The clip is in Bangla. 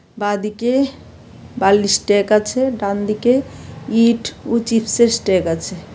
বাঁদিকে বালির স্ট্যাক আছে ডানদিকে ইট ও চিপসের স্ট্যাক আছে।